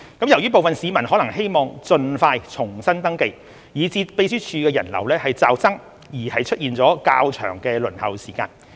由於部分市民可能希望盡快重新登記，以致秘書處人流驟增而出現較長輪候時間。